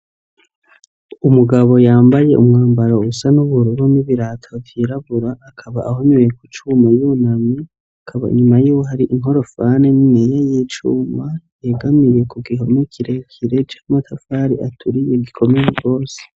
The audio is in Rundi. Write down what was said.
Umugabo yambaye umwambaro usa n'ubururu n'ibirato vyirabura akaba ahonyoye k'ucuma yunamye akaba inyuma yiwe har'inkorofani niniya y'icuma yegamiye kugihome kirekire c'amatafari aturiye gikomeye gose.